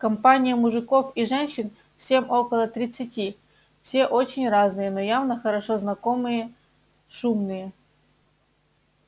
компания мужиков и женщин всем около тридцати все очень разные но явно хорошо знакомые шумные